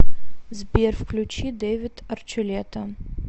сбер включи дэвид арчулета